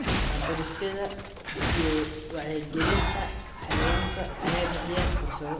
Waxbarashada iyo Wacyigelinta Xayawaanka ayaa bixiya fursado.